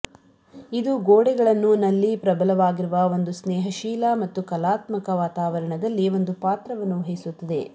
ಇದು ಗೋಡೆಗಳನ್ನು ನಲ್ಲಿ ಪ್ರಬಲವಾಗಿರುವ ಒಂದು ಸ್ನೇಹಶೀಲ ಮತ್ತು ಕಲಾತ್ಮಕ ವಾತಾವರಣದಲ್ಲಿ ಒಂದು ಪಾತ್ರವನ್ನು ವಹಿಸುತ್ತದೆ